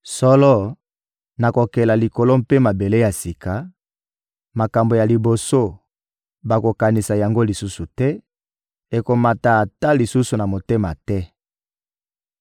Solo, nakokela likolo mpe mabele ya sika; makambo ya liboso, bakokanisa yango lisusu te, ekomata ata lisusu na motema te.